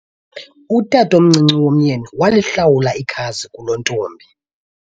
utatomncinci womyeni walihlawula ikhazi kulontombi